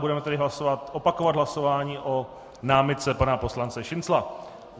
Budeme tedy opakovat hlasování o námitce pana poslance Šincla.